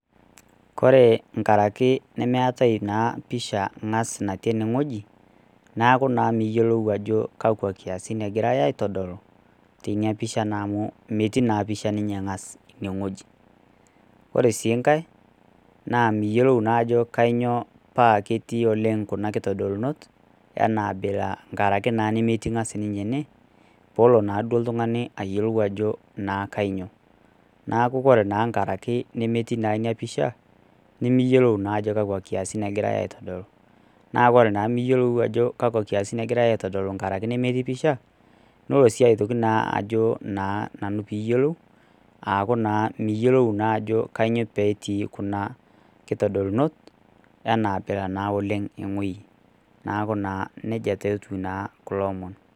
Ore tenkaraki nemeetae ena pisha ang'as natii enewueji neeku naa niyiolou Ajo kakua nkiasin egirai aitodolu amu metii naa pisha ang'as enewueji ore sii enkae naa miyiolou naa enaketii oleng nkitolunot tenkaraki nemetii naa sininye ene pelo naa oltung'ani ayiolou Ajo kainyio neeku naa tenkaraki nemetii ena pisha nimiyiolou naa Ajo kakua nkiasin egirai aitodolu neeku naa ore enimiyiolou nkiasin nagira aitodolu miyiolou naa Ajo kainyio petii Kuna abila ekuna kidolunot naa ewueji neeku nejia etieu kulo omon